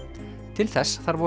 til þess þarf